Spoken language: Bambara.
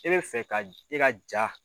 E fɛ ka i ka jaa